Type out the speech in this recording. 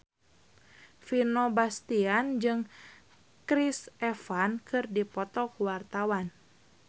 Vino Bastian jeung Chris Evans keur dipoto ku wartawan